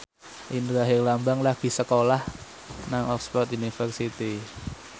Indra Herlambang lagi sekolah nang Oxford university